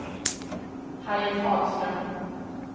Harriet Hagström